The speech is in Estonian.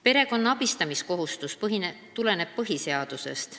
Perekonna abistamiskohustus tuleneb põhiseadusest.